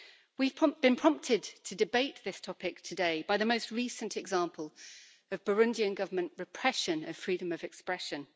We've been prompted to debate this topic today by the most recent example of Burundian government repression of freedom of expression.